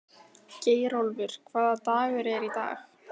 Geirólfur, hvaða dagur er í dag?